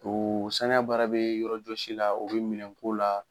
O saniya baara be yɔrɔjɔsi la o be minɛn ko la